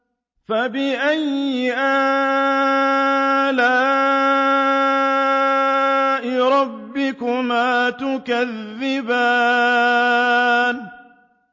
فَبِأَيِّ آلَاءِ رَبِّكُمَا تُكَذِّبَانِ